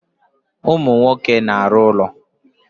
Ụmụ nwoke na-arụ ụlọ.